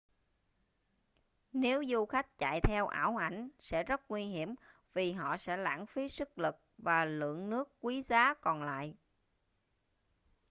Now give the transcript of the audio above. nếu du khách chạy theo ảo ảnh sẽ rất nguy hiểm vì họ sẽ lãng phí sức lực và lượng nước quý giá còn lại